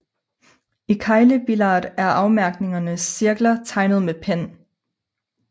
I keglebillard er afmærkningernes cirkler tegnet med pen